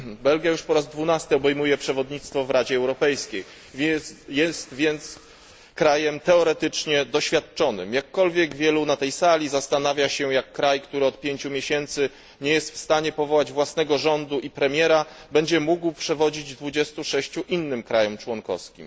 Belgia już po raz dwunasty obejmuje przewodnictwo w Radzie Europejskiej, jest więc krajem teoretycznie doświadczonym, jakkolwiek wielu na tej sali zastanawia się, jak kraj, który od pięciu miesięcy nie jest w stanie powołać własnego rządu i premiera, będzie mógł przewodzić 26 innym krajom członkowskim.